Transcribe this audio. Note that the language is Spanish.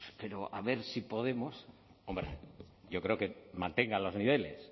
pero a ver si podemos hombre yo creo que mantenga los niveles